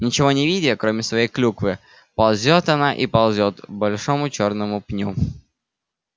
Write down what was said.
ничего не видя кроме своей клюквы ползёт она и ползёт к большому чёрному пню